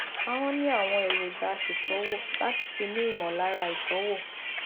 ahọn ní àwọn èròjà aṣètọwò láti fi ní ìmọlára ìtọwò